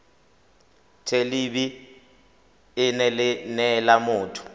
thelebi ene e neela motho